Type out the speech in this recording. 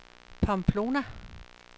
Pamplona